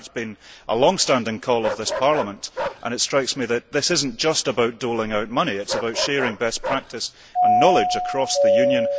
This has been a long standing call of this Parliament, and it strikes me that this is not just about doling out money but about sharing best practice and knowledge across the Union.